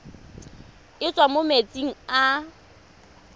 e tswang mo metsing a